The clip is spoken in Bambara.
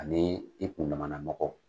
Ani i kun damana mɔgɔ.